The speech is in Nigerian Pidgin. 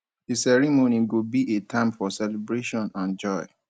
di ceremony go be a time for celebration and joy